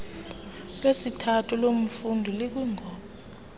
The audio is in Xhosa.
lesithathu lomfundi likwisgb